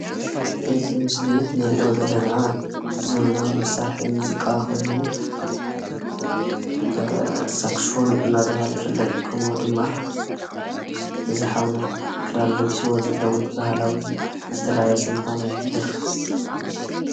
እዚ ምስሊ እንሪኦ ዘለና ዘበናዊ መሳርሒ ሙዚቃ ኮይኑ፣ ሳክስፎን እናተባሃለ ይፍለጥ። ከምኡ ድማ እዚ ሓውና ክዳን ለቢስዎ ዘሎ እውን ባህላዊ ዝተላበሰ ምዃኑ ይሕብር ፡፡